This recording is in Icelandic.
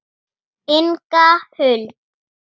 Inga Huld.